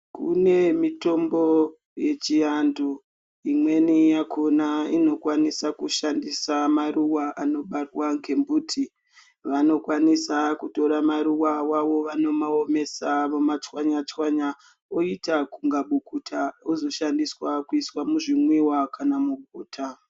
Kune mitombo ye chi antu imweni yakona inokwanisa kushandisa maruva ano barwa nge muti vanokwanisa kutora maruva awavo vano omesa voma tswanya tswanya voita kunge bukuta wozo shandisa kuita zvi mwiwa kana mu bota.